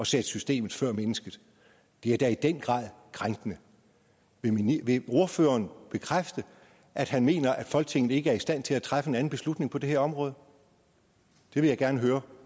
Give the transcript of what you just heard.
sætte systemet før mennesket det er da i den grad krænkende vil ordføreren bekræfte at han mener at folketinget ikke er i stand til at træffe en anden beslutning på det her område det vil jeg gerne høre